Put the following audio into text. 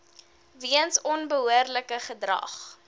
weens onbehoorlike gedrag